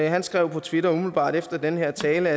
han skrev på twitter umiddelbart efter den her tale